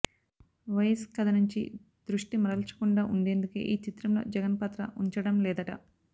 YS కథ నుంచి దృష్టి మరల్చకుండా ఉండేందుకే ఈ చిత్రంలో జగన్ పాత్ర ఉంచడం లేదట